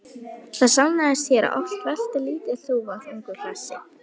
Það sannaðist hér að oft veltir lítil þúfa þungu hlassi.